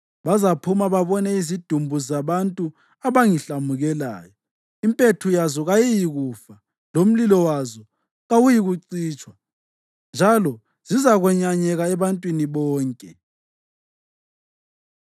“Bazaphuma babone izidumbu zabantu abangihlamukelayo; impethu yazo kayiyikufa, lomlilo wazo kawuyikucitshwa, njalo zizakwenyanyeka ebantwini bonke.”